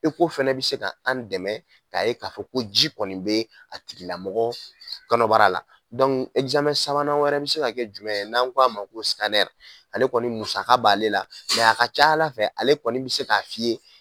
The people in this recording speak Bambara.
fɛnɛ bɛ se k'an dɛmɛ k'a'ye ka fɔ ko ji kɔni bɛ a tigilamɔgɔ kɔnɔbara ɛkizamɛn sabanan wɛrɛ bɛ se ka kɛ jumɛn ye n'an ko'a ma ko ale kɔni musaka b'ale la a ka ca ala fɛ ale kɔni bɛ se k'a f'i ye.